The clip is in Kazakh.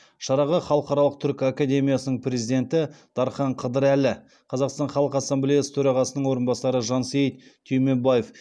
шараға халықаралық түркі академиясының президенті дархан қыдырәлі қазақстан халқы ассамблеясы төрағасының орынбасары жансейіт түймебаев